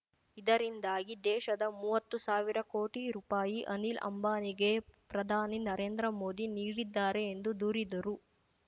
ಇದರಿಂದಾಗಿ ದೇಶದ ಮೂವತ್ತು ಸಾವಿರ ಕೋಟಿ ರೂಪಾಯಿ ಅನಿಲ್ ಅಂಬಾನಿಗೆ ಪ್ರಧಾನಿ ನರೇಂದ್ರ ಮೋದಿ ನೀಡಿದ್ದಾರೆ ಎಂದು ದೂರಿದ್ದರು